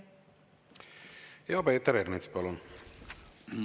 Peeter Ernits, palun!